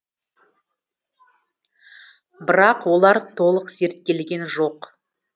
бірақ олар толық зерттелген жоқ